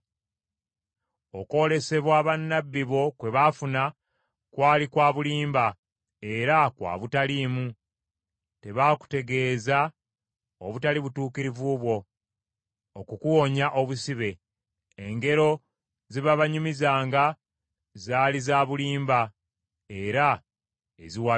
Okwolesebwa bannabbi bo kwe baafuna, kwali kwa bulimba era kwa butaliimu; tebaakutegeeza obutali butuukirivu bwo okukuwonya obusibe. Engero ze baabanyumizanga zaali za bulimba era eziwabya.